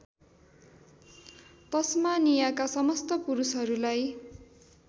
तस्मानियाका समस्त पुरुषहरूलाई